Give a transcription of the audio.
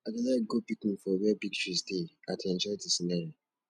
i dey like go picnic for where big trees dey i dey enjoy de scenery